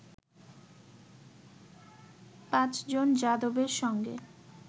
পাঁচ জন যাদবের সঙ্গে